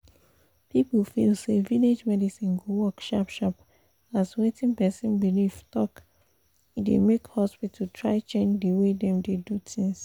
people feel say village medicine go work sharp sharp as wetin person believe talk e dey make hospital try change the way them dey do things.